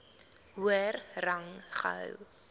hoër rang gehou